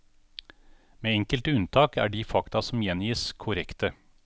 Med enkelte unntak, er de fakta som gjengis, korrekte.